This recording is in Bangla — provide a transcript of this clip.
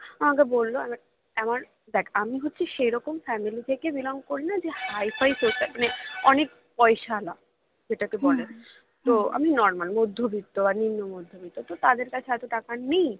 আমাকে বললো এবার এমন দেখ আমি হচ্ছি সেরকম family থেকে belong করলে যে high figh profile মানে অনেক পয়সাওলা যেটাকে বলে তো আমি normal মধ্যবিত্ত মানে নিম্ন মধ্যবিত্ত তো তাদের কাছে এত টাকা নেই